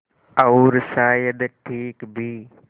और शायद ठीक भी